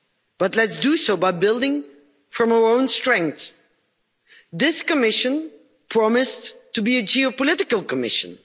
But let's do so by building from our own strength. This Commission promised to be a geopolitical Commission.